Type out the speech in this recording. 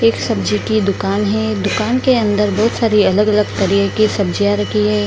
एक सब्जी की दुकान है दुकान के अन्दर बहुत सारी अलग-अलग तरह की सब्जियाँ रखी हैं।